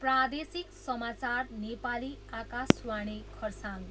प्रादेशिक समाचार, नेपाली, आकाशवाणी खरसाङ।